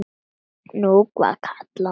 Nú var kallað á mig!